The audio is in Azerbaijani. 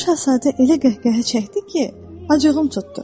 Balaca şahzadə elə qəhqəhə çəkdi ki, acığım tutdu.